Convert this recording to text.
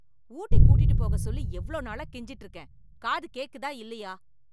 ஊட்டி கூட்டிட்டு போக சொல்லி எவ்ளோ நாளா கெஞ்சிட்டு இருக்கேன்? காது கேக்குதா, இல்லையா?